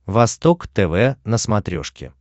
восток тв на смотрешке